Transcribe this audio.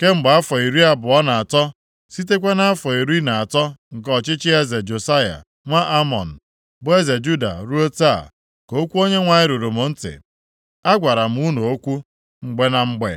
Kemgbe afọ iri abụọ na atọ, sitekwa nʼafọ iri na atọ nke ọchịchị eze Josaya nwa Amọn, bụ eze Juda ruo taa, ka okwu Onyenwe anyị ruru m ntị, a gwara m unu okwu, mgbe na mgbe,